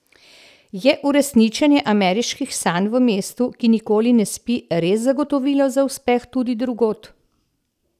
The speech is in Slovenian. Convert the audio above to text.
Je uresničenje ameriških sanj v mestu, ki nikoli ne spi, res zagotovilo za uspeh tudi drugod?